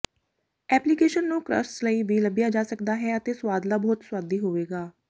application ਨੂੰ crusts ਲਈ ਵੀ ਲੱਭਿਆ ਜਾ ਸਕਦਾ ਹੈ ਅਤੇ ਸੁਆਦਲਾ ਬਹੁਤ ਸੁਆਦੀ ਹੋਵੇਗਾ